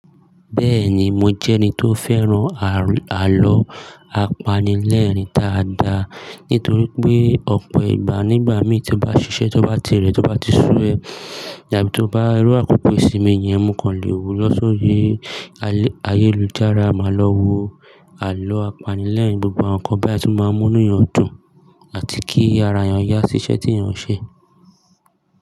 Bẹ́ẹ̀ni, mo jẹ́ ẹni tó fẹ́ràn àlọ́ apanilẹ́ẹ̀rín táa dà. Nítorí pé ọ̀pọ̀ ìgbà nígbà mí tí ó bá ṣiṣẹ́, tí ó bá tirẹ̀, tí ó bá ti sú ẹ, àbí tó bá rí àkókò ìsinmi yẹn, ǹ mọ̀ kan lè wù ú lọ sóri ayélujára, màá lọ wo àlọ́ apanilẹ́ẹ̀rín. Gbogbo àwọn nǹkan bẹ́ẹ̀ tí máa ń mú inú èèyàn dùn àti kí ara èèyàn yá ṣiṣẹ́ tí èèyàn ń ṣe.